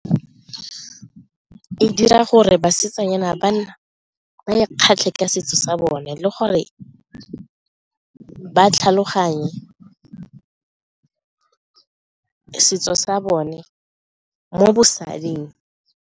E dira gore basetsanyana ba ikgatlhe ka setso sa bone le gore ba tlhaloganye setso sa bone mo bosading.